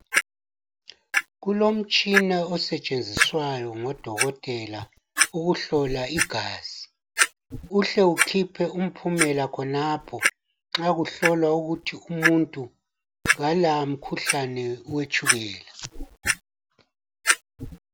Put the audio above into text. Kulomtshina usetshenziswayo ngodokotela owokuhlola igazi uhle ukhiphe impumela khonapho nxa kuhlolwa ukuthi umuntu Kala umkhuhlane wetshukela.